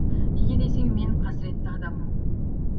неге десең мен қасіретті адаммын